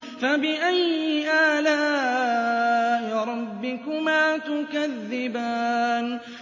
فَبِأَيِّ آلَاءِ رَبِّكُمَا تُكَذِّبَانِ